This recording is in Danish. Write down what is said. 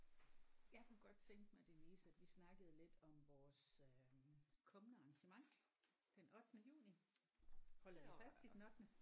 Jeg kunne godt tænke mig Denise at vi snakkede lidt om vores øh kommende arrangement den ottende juni holder vi fast i den ottende?